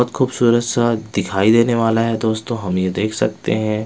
बहुत खूबसूरत सा दिखाई देने वाला है दोस्तों हम ये देख सकते हैं।